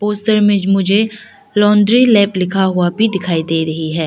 उस साइड मुझे laundry lab लिखा हुआ भी दिखाई दे रही है।